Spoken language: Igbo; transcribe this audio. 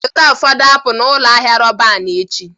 Zụta ụfọdụ apụl n'ụlọ ahịa Roban echi